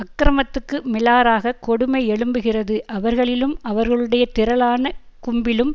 அக்கிரமத்துக்கு மிலாறாகக் கொடுமை எழும்புகிறது அவர்களிலும் அவர்களுடைய திரளான கும்பிலும்